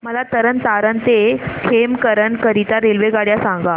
मला तरण तारण ते खेमकरन करीता रेल्वेगाड्या सांगा